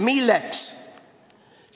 Milleks?